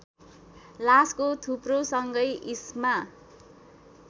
लासको थुप्रोसँगै इस्मा